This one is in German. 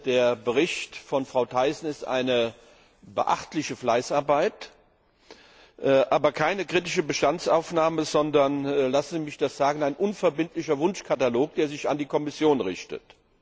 Der Bericht von Frau Thyssen ist eine beachtliche Fleißarbeit, aber keine kritische Bestandsaufnahme, sondern lassen Sie mich das sagen ein unverbindlicher Wunschkatalog, der sich an die Kommission richtet.